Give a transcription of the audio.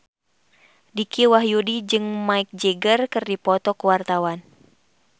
Dicky Wahyudi jeung Mick Jagger keur dipoto ku wartawan